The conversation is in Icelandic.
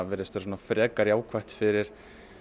virðist vera frekar jákvætt fyrir